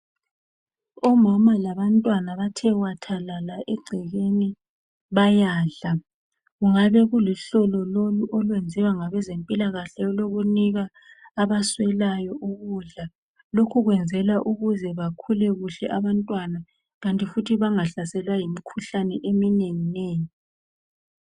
Omama labantwana bathe wathalala egcekeni bayadla. Kungabe kuluhlelo lolu olwenziwa ngabezempilakahle olokunika abaswelayo ukudla. Lokhu kwenzelwa ukuze bakhule kuhle abantwana kanti futhi bangahlaselwa yimikhuhlane eminengi nengi.